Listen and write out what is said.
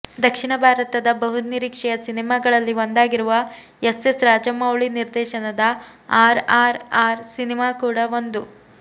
ದಕ್ಷಿಣ ಭಾರತದ ಬುಹುನಿರೀಕ್ಷೆಯ ಸಿನಿಮಾಗಳಲ್ಲಿ ಒಂದಾಗಿರುವ ಎಸ್ ಎಸ್ ರಾಜಮೌಳಿ ನಿರ್ದೇಶನದ ಆರ್ ಆರ್ ಆರ್ ಸಿನಿಮಾ ಕೂಡ ಒಂದು